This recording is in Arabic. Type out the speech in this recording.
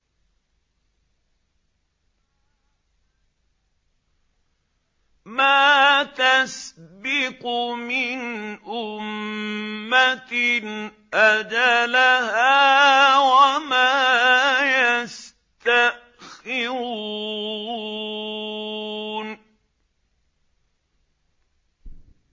مَا تَسْبِقُ مِنْ أُمَّةٍ أَجَلَهَا وَمَا يَسْتَأْخِرُونَ